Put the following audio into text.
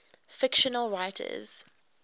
fictional writers